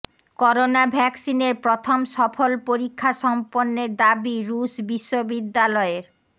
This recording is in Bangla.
করোনা ভ্যাকসিনের প্রথম সফল পরীক্ষা সম্পন্নের দাবি রুশ বিশ্ববিদ্যালয়ের